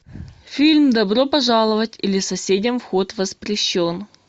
фильм добро пожаловать или соседям вход воспрещен